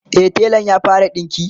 e telan ya fara dinki